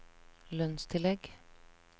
lønnstillegg